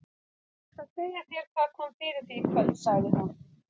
Ég skal segja þér hvað kom fyrir þig í kvöld, sagði hún.